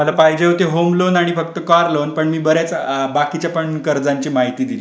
तुम्हला पाहजे होता होम लोन आणि कार लोन पण मी बाकीच्या पण कर्जाची माहिती दिली तुम्हला.